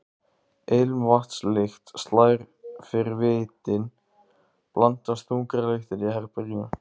Ilmvatnslykt slær fyrir vitin, blandast þungri lyktinni í herberginu.